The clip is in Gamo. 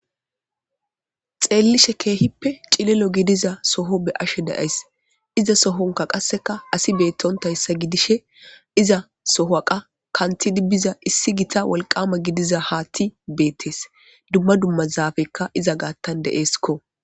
xeellishe keehippe cililo gidiza soho be'ashe dayays iza sohonka qasseka asi beettontayssa gidishe iza sohaqa kanti dibbiza issi gita walqama gidiza haatti beettes dumma dummazaafekka iza gaattan de7eeskko